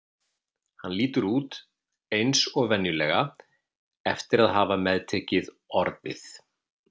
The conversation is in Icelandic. Hann lítur út eins og venjulega eftir að hafa meðtekið Orðið.